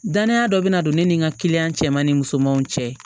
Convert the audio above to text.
Dananya dɔ bɛna don ne ni n ka kiliyan cɛ ma ni musomanw cɛ